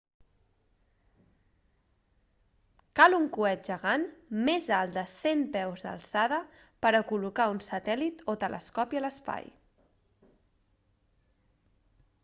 cal un coet gegant més alt de 100 peus d'alçada per a col·locar un satèl·lit o telescopi a l'espai